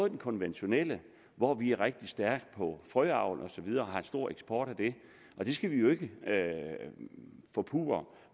den konventionelle hvor vi er rigtig stærke på frøavl og så videre og har en stor eksport af det det skal vi jo ikke forpurre